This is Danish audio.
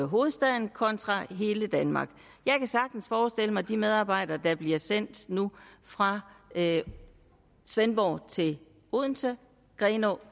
hovedstaden kontra hele danmark jeg kan sagtens forestille mig de medarbejdere der nu bliver sendt fra svendborg til odense grenå